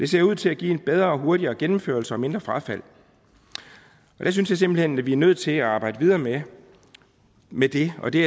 ser ud til at give en bedre og hurtigere gennemførelse og mindre frafald der synes jeg simpelt hen vi er nødt til at arbejde videre med med det og det